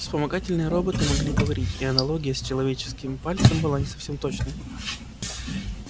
вспомогательные роботы могли говорить и аналогия с человеческим пальцем была не совсем точной